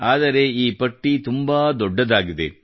ಆದರೆ ಈ ಪಟ್ಟಿ ತುಂಬಾ ದೊಡ್ಡದಾಗಿದೆ